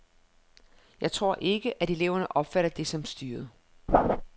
Jeg tror ikke, at eleverne opfatter det som styret.